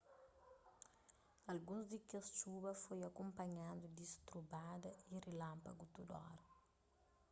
alguns di kes txuba foi akunpanhadu di strubada y rilanpagu tudu óra